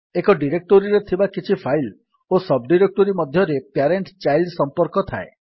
ଏକ ଡିରେକ୍ଟୋରୀରେ ଥିବା କିଛି ଫାଇଲ୍ ଓ ସବ୍ ଡିରେକ୍ଟୋରୀ ମଧ୍ୟରେ ପ୍ୟାରେଣ୍ଟ୍ ଚାଇଲ୍ଡ୍ ସମ୍ପର୍କ ଥାଏ